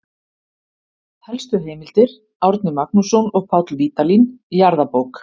Helstu heimildir: Árni Magnússon og Páll Vídalín, Jarðabók.